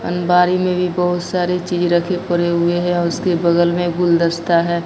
अंबारी में भी बहोत सारी चीज रखे खोले हुए है और उसके बगल में गुलदस्ता है।